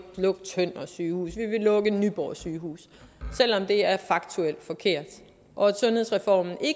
lukke tønder sygehus vi vil lukke nyborg sygehus selv om det er faktuelt forkert sundhedsreformen